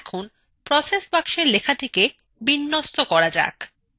এখন process box লেখাটিকে align করা যাক